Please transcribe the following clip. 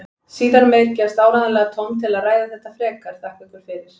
Síðar meir gefst áreiðanlega tóm til að ræða þetta frekar, þakka ykkur fyrir.